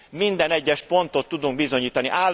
Minden egyes pontot tudunk bizonyítani.